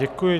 Děkuji.